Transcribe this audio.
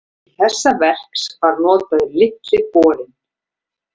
Til þess verks var notaður Litli borinn.